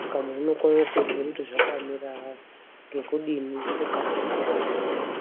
saka muntu unokone kuziya kuti zvakamira ngekudini okasire kurapwa.